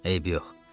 Eybi yox.